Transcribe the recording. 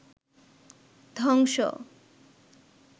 ধ্বংস